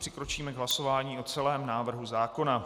Přikročíme k hlasování o celém návrhu zákona.